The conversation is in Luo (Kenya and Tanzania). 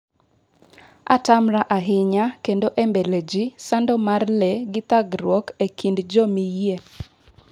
atamra ahinya kendo e mbele ji sando mar lee githagruok e kind jomiyie